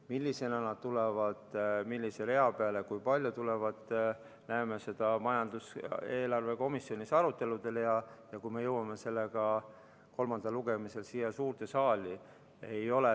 Millisena nad tulevad, millise rea peale, kui palju neid tuleb, seda näeme komisjonis eelarvearuteludel ja siis, kui me jõuame kolmandale lugemisele siia suurde saali.